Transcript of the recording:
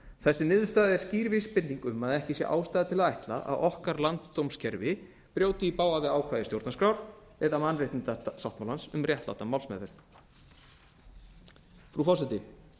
þessi niðurstaða er skýr vísbending um að ekki sé ástæða til að ætla að okkar landsdómskerfi brjóti í bága við ákvæði stjórnarskrárinnar eða mannréttindasáttmálans um réttláta málsmeðferð frú forseti